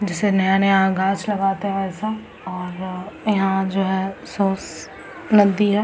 जिसमें नया-नया गाछ लगाते है वैसा और यहाँ जो है सोस नदी है।